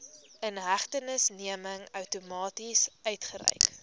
inhegtenisneming outomaties uitgereik